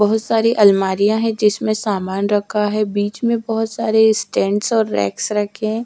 बहोत सारी अलमारियां है जिसमें सामान रखा है बीच में बहोत सारे स्टैंड और रैक्स रखें हैं।